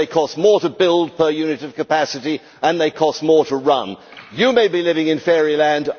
They cost more to build per unit of capacity and they cost more to run. You may be living in fairyland